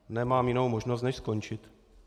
Nemám jinou možnost než skončit.